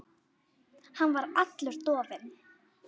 Hann var allur dofinn.